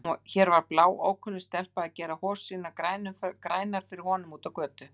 Hér var bláókunnug stelpa að gera hosur sínar grænar fyrir honum úti á götu!